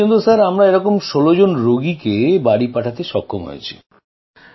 এখনো পর্যন্ত আমরা এরকম ১৬জন রোগীকে বাড়ী পাঠাতে সক্ষম হয়েছি